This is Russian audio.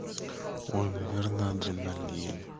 ой наверное адреналин